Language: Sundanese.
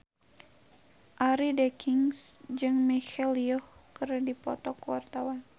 Arie Daginks jeung Michelle Yeoh keur dipoto ku wartawan